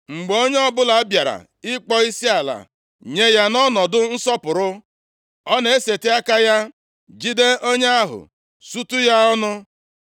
Mgbe onye ọbụla bịara ịkpọ isiala nye ya nʼọnọdụ nsọpụrụ, ọ na-eseti aka ya, jide onye ahụ sutu ya ọnụ.